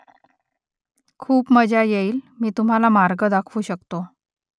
खूप मजा येईल मी तुम्हाला मार्ग दाखवू शकतो